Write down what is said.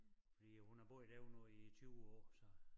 Fordi hun har boet derude nu i 20 år så